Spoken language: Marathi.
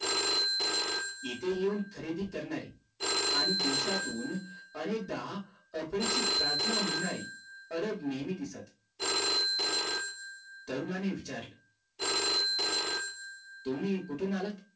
इथं येऊन खरेदी करणारी आणि दिवसातून अनेकदा आरबीची प्रार्थना म्हणारी अरब नेहमी दिसतात तरुणाने विचारलं तुम्ही कुठून आलात